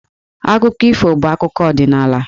Akụkọ ifo bụ akụkọ ọdịnaala.